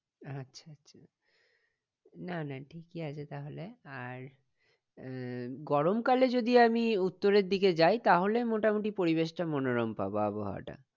আচ্ছা আচ্ছা না না ঠিকই আছে তাহলে আর আহ গরমকালে যদি আমি উত্তরের দিকে যাই তাহলে মোটামুটি পরিবেশটা মনোরম পাবো আবহাওয়াটা